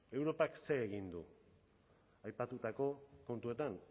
europak zer egin du aipatutako puntuetan